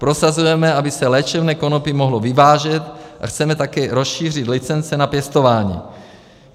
Prosazujeme, aby se léčebné konopí mohlo vyvážet, a chceme také rozšířit licence na pěstování.